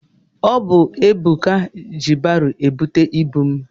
Ọ bụ Ebuka ji baro ebute ibu m.